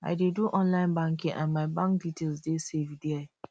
i dey do online banking and my bank details dey safe there